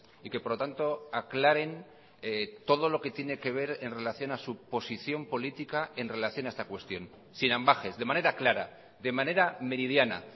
y que por lo tanto aclaren todo lo que tiene que ver en relación a su posición política en relación a esta cuestión sin ambages de manera clara de manera meridiana